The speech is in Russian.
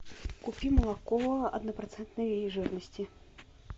купи молоко однопроцентной жирности